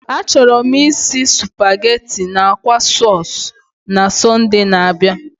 Achọrọ m isi nri supageti na akwa stuu na Sọnde na-abịa.